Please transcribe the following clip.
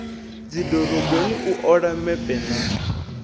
dzidoroboni u ola mepe na